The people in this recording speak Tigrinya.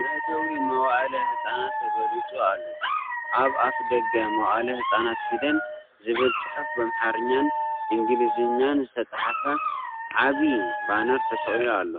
መእተዊ መዋእለ ህጻናት ተገሊጹ ኣሎ። ኣብ ኣፍደገ "መዋእለ ህጻናት ፊደል" ዝብል ጽሑፍ ብኣምሓርኛን እንግሊዝኛን ዝተጻሕፈ ዓቢ ባነር ተሰቒሉ ኣሎ።